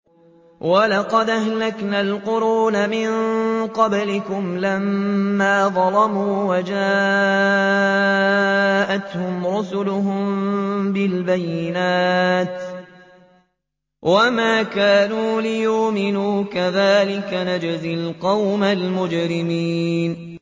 وَلَقَدْ أَهْلَكْنَا الْقُرُونَ مِن قَبْلِكُمْ لَمَّا ظَلَمُوا ۙ وَجَاءَتْهُمْ رُسُلُهُم بِالْبَيِّنَاتِ وَمَا كَانُوا لِيُؤْمِنُوا ۚ كَذَٰلِكَ نَجْزِي الْقَوْمَ الْمُجْرِمِينَ